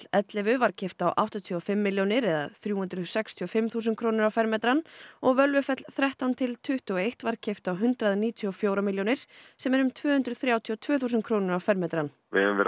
ellefu var keypt á áttatíu og fimm milljónir eða þrjú hundruð sextíu og fimm þúsund krónur á fermetrann og Völvufell þrettán til tuttugu og eitt var keypt á hundrað níutíu og fjórar milljónir sem er um tvö hundruð þrjátíu og tvö þúsund krónur á fermetrann við höfum verið